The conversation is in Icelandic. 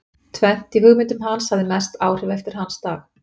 Tvennt í hugmyndum hans hafði mest áhrif eftir hans dag.